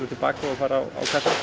og fara